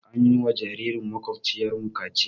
An yi wa jaririn maƙwabciyarmu kaciya.